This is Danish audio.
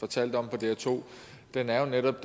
fortalte om på dr2 er jo netop